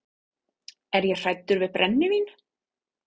Er ég hræddur við brennivín?